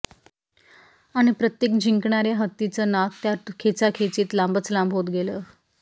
आणि प्रत्येक जिंकणार्या हत्तीचं नाक त्या खेचाखेचीत लांबच लांब होत गेलं